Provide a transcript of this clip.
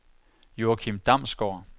Joachim Damsgaard